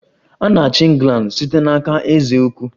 A na-achị England site n'aka eze ukwu